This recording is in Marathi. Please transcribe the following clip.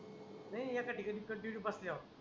नाही एका ठिकाणी कंटिन्यू बसल्यावर